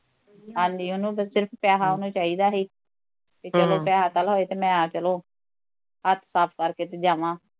ਹਾਂਜੀ ਉਹਨੂੰ ਤੇ ਸਿਰਫ਼ ਬਸ ਪੈਸਾ ਚਾਹੀਦਾ ਸੀ ਤੇ ਕਿਤੇ ਹਮ ਪੈਸਾ ਹੋਏ ਤੇ ਮੈਂ ਚਲੋ ਹੱਥ ਸਾਫ ਕਰਕੇ ਤੇ ਜਾਵਾ